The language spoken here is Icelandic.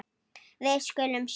Við skulum sjá.